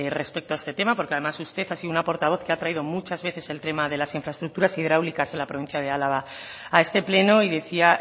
respecto a este tema porque además usted ha sido una portavoz que ha traído muchas veces el tema de las infraestructuras hidráulicas en la provincia de álava a este pleno y decía